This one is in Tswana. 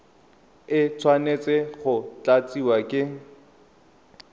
e tshwanetse go tlatsiwa ke